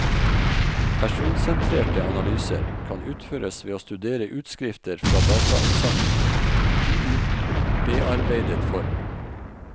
Personsentrerte analyser kan utføres ved å studere utskrifter fra datainnsamlingen i ubearbeidet form.